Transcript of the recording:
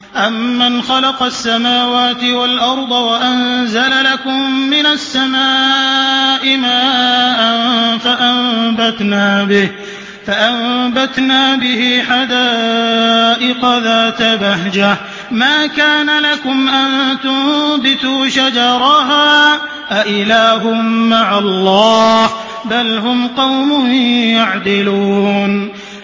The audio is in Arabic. أَمَّنْ خَلَقَ السَّمَاوَاتِ وَالْأَرْضَ وَأَنزَلَ لَكُم مِّنَ السَّمَاءِ مَاءً فَأَنبَتْنَا بِهِ حَدَائِقَ ذَاتَ بَهْجَةٍ مَّا كَانَ لَكُمْ أَن تُنبِتُوا شَجَرَهَا ۗ أَإِلَٰهٌ مَّعَ اللَّهِ ۚ بَلْ هُمْ قَوْمٌ يَعْدِلُونَ